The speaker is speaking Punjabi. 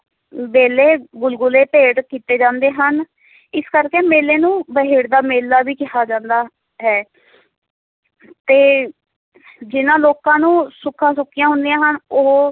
ਵੇਲੇ ਗੁਲਗੁਲੇ ਭੇਟ ਕੀਤੇ ਜਾਂਦੇ ਹਨ ਇਸੇ ਕਰਕੇ ਮੇਲੇ ਨੂੰ ਬਹਿੜਦਦਾ ਦਾ ਮੇਲਾ ਵੀ ਕਿਹਾ ਜਾਂਦਾ ਹੈ ਤੇ ਜਿੰਨ੍ਹਾਂ ਲੋਕਾਂ ਨੂੰ ਸੁੱਖਾਂ ਸੁੱਖੀਆਂ ਹੁੰਦੀਆਂ ਹਨ, ਉਹ